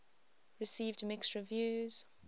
received mixed reviews